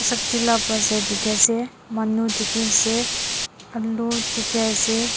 sabji la bazaar dikhi ase manu dikhiase aloo dikhi ase.